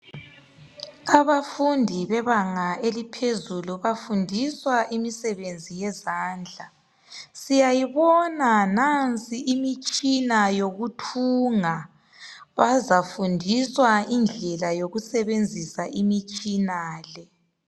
Abafundi bebanga eliphezulu bafundiswa imisebenzi yezandla. Siyayibona nansi imitshina yokuthunga, bazafundiswa indlela yokusebenzisa imitshina le.